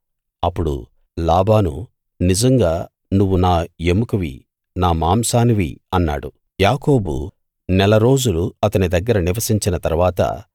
అప్పుడు లాబాను నిజంగా నువ్వు నా ఎముకవీ నా మాంసానివీ అన్నాడు యాకోబు నెల రోజులు అతని దగ్గర నివసించిన తరువాత